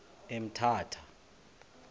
emthatha